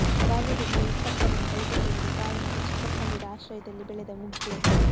ಬಾಲ್ಯದಲ್ಲಿಯೇ ಹೆತ್ತಪ್ಪನನ್ನು ಕಳೆದುಕೊಂಡು ತಾಯಿ ಮತ್ತು ಚಿಕ್ಕಪ್ಪಂದಿರ ಆಶ್ರಯದಲ್ಲಿ ಬೆಳೆದ ಮುಗ್ಧೆ